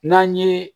N'an ye